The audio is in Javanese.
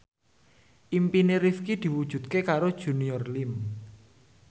impine Rifqi diwujudke karo Junior Liem